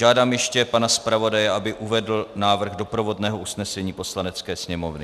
Žádám ještě pana zpravodaje, aby uvedl návrh doprovodného usnesení Poslanecké sněmovny.